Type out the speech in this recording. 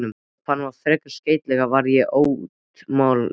Ef hann var ferskeytla var ég atómljóð.